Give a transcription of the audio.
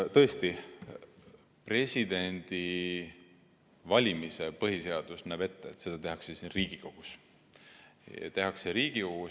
Tõesti, põhiseadus näeb ette, et president valitakse ära siin Riigikogus.